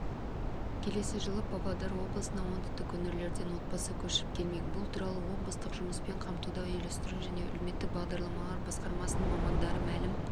келесі жылы павлодар облысына оңтүстік өңірлерден отбасы көшіп келмек бұл туралы облыстық жұмыспен қамтуды үйлестіру және әлеуметтік бағдарламалар басқармасының мамандары мәлім